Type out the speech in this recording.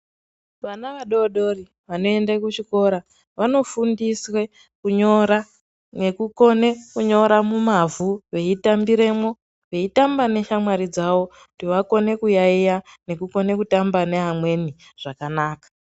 Vana vadodori vanoende kuchikora vanofundiswa kunyora nekukona kunyora mumavhu veitambiremwo veitambe neshamwari dzavo kuti vakone kuyaiya nekukone kutamba mevamweni zvakanaka.